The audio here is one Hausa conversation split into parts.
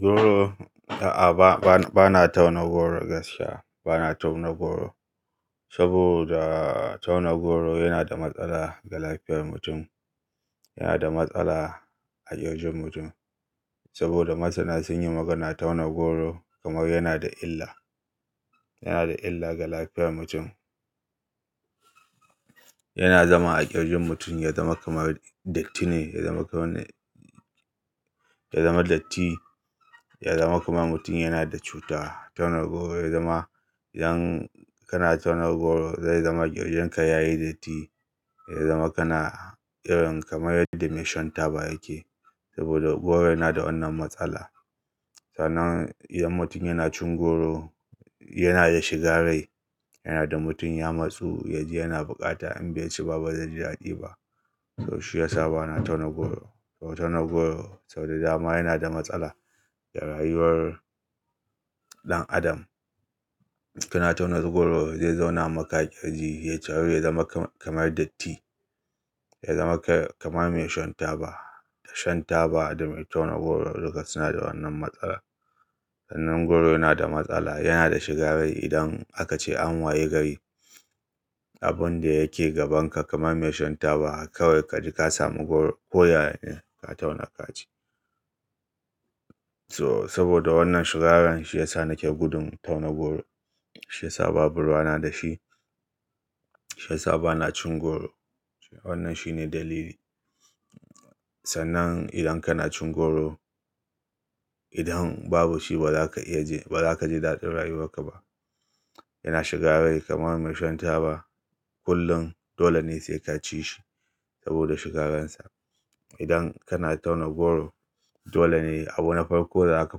Goro, a'a ba na tauna goro gaskiya. Ba na tauna goro saboda tauna goro yana da matsala ga lafiyar mutum, yana da matsala a ƙirjin mutum. Saboda masana sun yi maganar tauna goro kamar yana da illa, yana da illa ga lafiyar mutum. Yana zama a ƙirjin mutum, ya zama kamar datti ne, ya zama kamar, ya zama datti, ya zama kamar mutum yana da cuta. Tauna goro ya zama idan kana tauna goro, zai zama ƙirjinka ya yi datti, ya zama kana irin kamar yadda mai shan taba yake. Saboda goro yana da wannan matsala. Sannan idan mutum yana cin goro, yana da shiga rai, yana da mutum ya matsu, yaji yana bukata in bai ci ba, ba zai ji daɗi ba. So shi ya sa ba na tauna goro. Kuma tauna goro sau da dama yana da matsala ga rayuwar ɗan adam. Idan kana tauna goro zai zauna maka a ƙirji, ya taro ya zama kamar datti. Ya zama kamar mai shan taba. Da shan taba da me tauna goro duka suna da wannan matsala. Sannan goro yana da matsala, yana da shiga rai idan aka ce an wayi gari, abun da yake gabanka kamar mai shan taba kawai ka ji ka samu goro, ko ya ne ka tauna ka ci. To saboda wannan shiga ran shi ya sa nake gudun tauna goro. Shi ya sa babu ruwa na da shi. Shi ya sa ba na cin goro. Wannan shine dalili. Sannan idan kana cin goro, idan babu shi ba za ka iya je, ba za ka ji daɗin rayuwarka ba. Yana shiga rai kamar mai shan taba. Kullum dole ne sai ka ci shi saboda shiga ransa. Idan kana tauna goro, dole ne abubna farko da za ka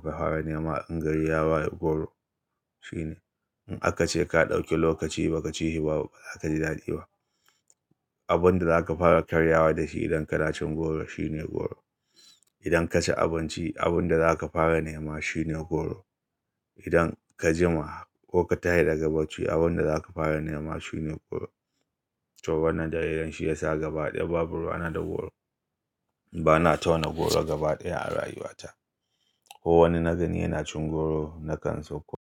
fara nema in gari ya waye goro shine. In aka ce ka ɗauki lokaci ba ka ci shi, ba za ka ji daɗi ba. Abin da za ka fara karyawa da shi idan kana cin goro shine goro. Idan ka ci abinci, abin da za ka fara nema shine goro. Idan ka jima ko ka tashi daga bacci, abin da za ka fara nema shine goro. To wannan dalilan shi ya sa gaba ɗaya babu ruwa na da goro. Ba na tauna goro gaba ɗaya a rayuwata. Ko wani nagani yana cin goro nakan so ko-